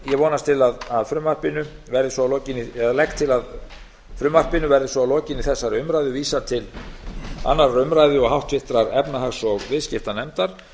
vonast til að frumvarpinu verði svo að lokinni eða legg til að frumvarpinu verði svo að lokinni þessari umræðu vísað til annarrar umræðu og háttvirtrar efnahags og viðskiptanefndar